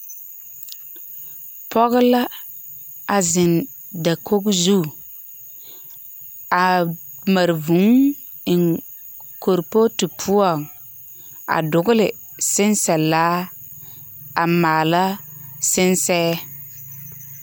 P4ge la a zeŋe dakoi zu, a mare vũũ eŋ kuripootu poͻŋ a dogele sensԑ laa, a maala sensԑԑ.